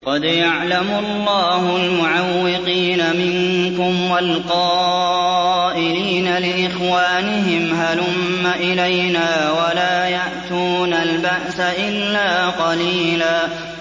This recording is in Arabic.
۞ قَدْ يَعْلَمُ اللَّهُ الْمُعَوِّقِينَ مِنكُمْ وَالْقَائِلِينَ لِإِخْوَانِهِمْ هَلُمَّ إِلَيْنَا ۖ وَلَا يَأْتُونَ الْبَأْسَ إِلَّا قَلِيلًا